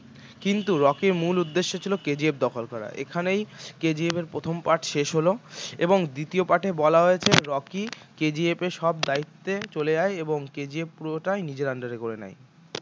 কিন্তু রকির মূল উদ্দেশ্য ছিল KGF দখল করা এখানেই KGF এর প্রথম পাঠ শেষ হল এবং দ্বিতীয় পাঠে বলা হয়েছে রকি KGF এর সব দায়িত্বে চলে যায় এবং KGF পুরোটাই নিজের under এ করে নেয়